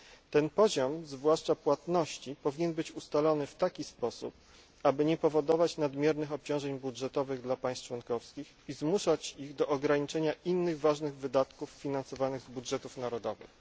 Ten poziom, zwłaszcza poziom płatności, powinien być ustalony w tak sposób, aby nie powodować nadmiernych obciążeń budżetowych dla państw członkowskich i nie zmuszać ich do ograniczania innych ważnych wydatków finansowanych z budżetów narodowych.